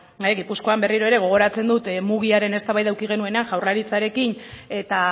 gipuzkoan berriro ere gogoratzen dut mugiaren eztabaida eduki genuenean jaurlaritzarekin eta